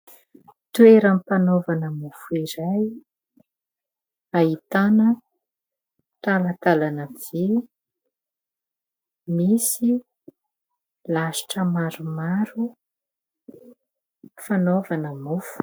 Toeram-panaovana mofo iray, ahitana talantalana vy, misy lasitra maromaro fanaovana mofo.